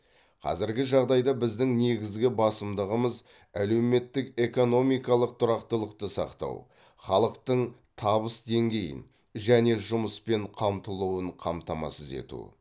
қазіргі жағдайда біздің негізгі басымдығымыз әлеуметтік экономикалық тұрақтылықты сақтау халықтың табыс деңгейін және жұмыспен қамтылуын қамтамасыз ету